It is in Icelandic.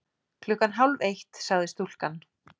Klukkan hálf eitt, sagði stúlkan.